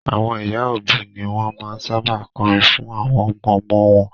Àwọn ìyá òbí ni wọn máa ń sábà kọrin fún àwọn ọmọ-ọmọ wọn